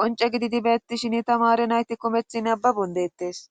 qonce gididi beettishin tamare nayti komethi nababon deettes